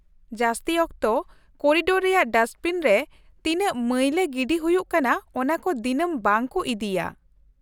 ᱡᱟᱹᱥᱛᱤ ᱚᱠᱛᱚ ᱠᱚᱨᱤᱰᱚᱨ ᱨᱮᱭᱟᱜ ᱰᱟᱥᱴᱵᱤᱱ ᱨᱮ ᱛᱤᱱᱟᱹᱜ ᱢᱟᱹᱭᱞᱟᱹ ᱜᱤᱰᱤ ᱦᱩᱭᱩᱜ ᱠᱟᱱᱟ ᱚᱱᱟᱠᱚ ᱫᱤᱱᱟᱹᱢ ᱵᱟᱝ ᱠᱚ ᱤᱫᱤᱭᱟ ᱾